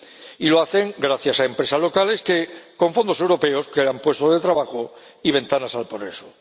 y lo hacen gracias a empresas locales que, con fondos europeos, crean puestos de trabajo y ventanas al progreso.